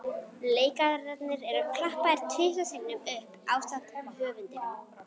Leikararnir eru klappaðir tvisvar sinnum upp ásamt höfundinum.